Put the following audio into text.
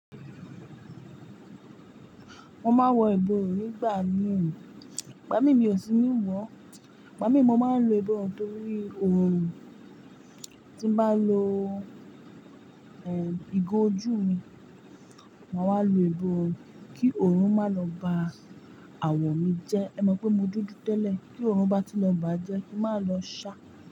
Mo máa ń wọ ìbọ̀run nígbà mìí, igbà mí miò sí ní wọ̀, igbà mí mo máa ń lo ìbọ̀run torí òòrùn, tí n bá lo, eh, ìgò ojú mi, màá wà lo ìbọ̀run kí òòrùn má lọ ba àwọ̀ mi jẹ́. Ẹ mọ̀ pé mo dúdú tẹ́lẹ̀ kí òòrùn bá tun lọ bà jẹ́ kí màá lọ sa.